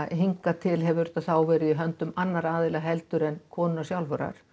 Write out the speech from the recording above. hingað til hefur þetta verið í höndum annarra aðila en konunnar sjálfrar